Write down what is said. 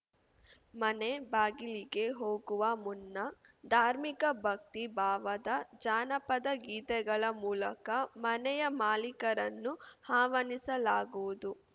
ಮನೆ ಬಾಗಿಲಿಗೆ ಹೋಗುವ ಮುನ್ನ ಧಾರ್ಮಿಕ ಭಕ್ತಿ ಭಾವದ ಜಾನಪದ ಗೀತೆಗಳ ಮೂಲಕ ಮನೆಯ ಮಾಲೀಕರನ್ನು ಆಹ್ವಾನಿಸಲಾಗುವುದು